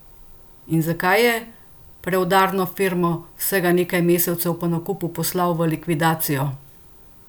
In zakaj je Preudarno Firmo vsega nekaj mesecev po nakupu poslal v likvidacijo?